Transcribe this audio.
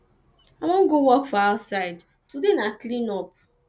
i wan go work for outside today na clean up